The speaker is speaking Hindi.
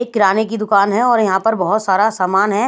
किराने की दुकान है और यहां पर बहुत सारा सामान है।